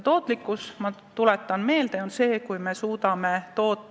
Tootlikkus, ma tuletan meelde, on see, kui palju me suudame kaupu toota.